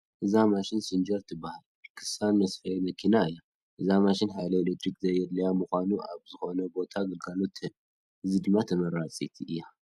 እዛ ማሽን ሲንጀር ትበሃል ክሳን መስፈይት መኪና እያ፡፡ እዛ ማሽን ሓይሊ ኤለክትሪክ ዘየድልያ ብምዃኑ ኣብ ዝኾነ ቦታ ግልጋሎት ትህብ፡፡ በዚ ድማ ተመራፂት እያ፡፡